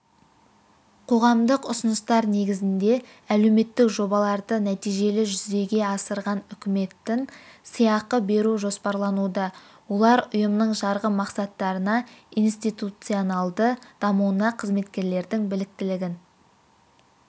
қоғамдық ұсыныстар негізінде әлеуметтік жобаларды нәтижелі жүзеге асырған үкіметтін сыйақы беру жоспарлануда олар ұйымның жарғы мақсаттарына институционалды дамуына қызметкерлердің біліктілігін